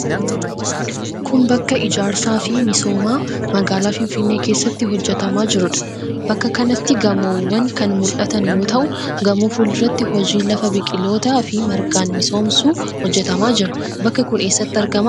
Kun, bakka ijaarsaa fi misoomaa magaalaa finfinnee keessatti hojjatamaa jiruu dha. Bakka kanatti gamoowwan kan mul'atan yoo ta'u, gamoo fuulduratti hojiin lafa biqilootaa fi margaan misoomsuu hojjatamaa jira. Bakki kun eessatti argama?